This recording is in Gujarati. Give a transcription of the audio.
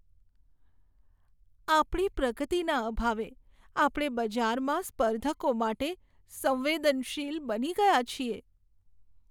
આપણી પ્રગતિના અભાવે આપણે બજારમાં સ્પર્ધકો માટે સંવેદનશીલ બની ગયા છીએ.